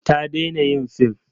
Ta daina yin film.